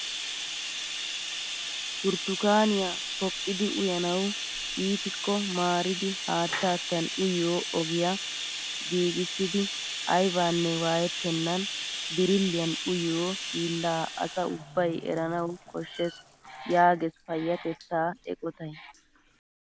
Burtukaamiyaa poqqidi uyanawu iitiko maaridi haattatan uyiyoo ogiyaa giigissidi aybanne waayettenan birilliyaan uyiyoo hiillaa asaa ubbay eranawu koshshees yaages payatettaa eqotay!